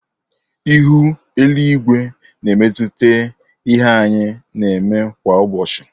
Ihu eluigwe na emetụta ihe anyị na-eme kwa ụbọchị.